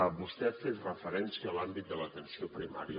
vostè ha fet referència a l’àmbit de l’atenció primària